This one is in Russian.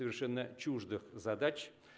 совершенно чуждых задач